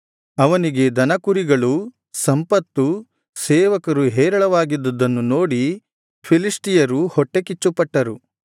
ಅವನಿಗೆ ದನಕುರಿಗಳೂ ಸಂಪತ್ತೂ ಸೇವಕರು ಹೇರಳವಾಗಿದ್ದುದನ್ನು ನೋಡಿ ಫಿಲಿಷ್ಟಿಯರು ಹೊಟ್ಟೆಕಿಚ್ಚುಪಟ್ಟರು